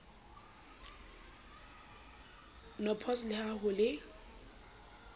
npos le ha ho le